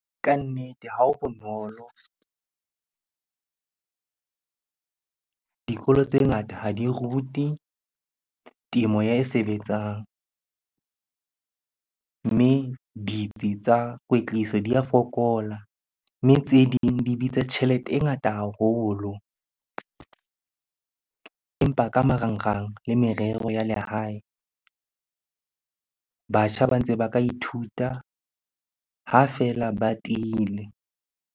Kannete ha ho bonolo. Dikolo tse ngata ha di rute temo e sebetsang. Mme ditsi tsa kwetliso di a fokola, mme tse ding di bitsa tjhelete e ngata haholo. Empa ka marangrang le merero ya lehae, batjha ba ntse ba ka ithuta ha feela ba tiile.